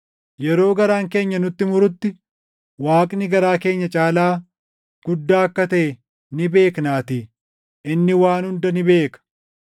Yeroo garaan keenya nutti murutti Waaqni garaa keenya caalaa guddaa akka taʼe ni beeknaatii; inni waan hunda ni beeka.